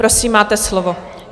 Prosím, máte slovo.